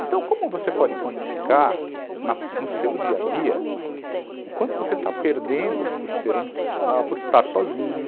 Então, como você pode quantificar no seu dia a dia o quanto você está perdendo por ser homossexual, por estar sozinho?